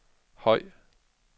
høj